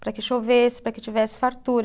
para que chovesse, para que tivesse fartura.